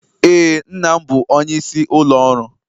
Ee, nna m bụ onyeisi ụlọ ọrụ